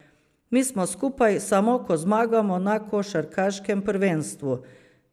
Mi smo skupaj, samo ko zmagamo na košarkaškem prvenstvu.